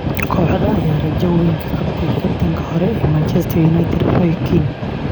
Kooxda ayaa rajo weyn ka qabtay kabtankii hore ee Manchester United Roy Keane.